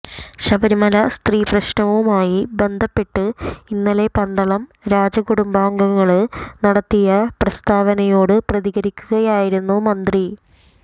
ശബരിമല സ്ത്രീ പ്രവേശനവുമായി ബന്ധപ്പെട്ട് ഇന്നലെ പന്തളം രാജകുടുംബാംഗങ്ങള് നടത്തിയ പ്രസ്താവനയോട് പ്രതികരിക്കുകയായിരുന്നു മന്ത്രി